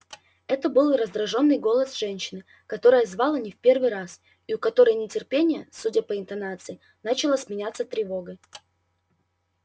это был раздражённый голос женщины которая звала не в первый раз и у которой нетерпение судя по интонации начало сменяться тревогой